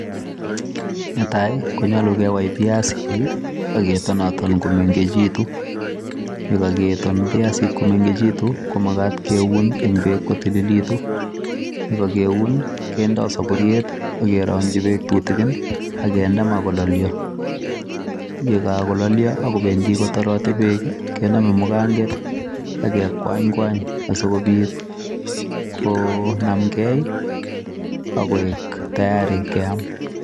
Ne tai, konyolu kewai piasik, aketonaton komengechitu. Yekaketon piasik komengechitu, ko magat keun eng' beek kotililitu. Yeakakuen, kendoi saburiet akerongchi bik tutikin, akende maa kololio. Yekakololio akobendi kotoroti beek, kename muganget aekwany kwany asikobit konamkei, akoek tayari keam.